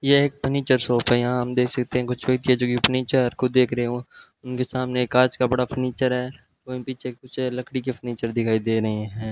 यह एक furniture shop है यहां हम यहां देख सकते है कि कुछ चीजों की फर्नीचर खुद देख रहे हो उनके सामने कांच का बड़ा फर्नीचर है और पीछे कुछ है लकड़ी के फर्नीचर दिखाई दे रहे हैं।